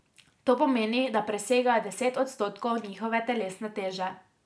To pomeni, da presegajo deset odstotkov njihove telesne teže.